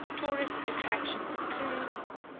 tourist attractions include